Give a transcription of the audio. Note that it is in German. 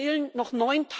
Es fehlen noch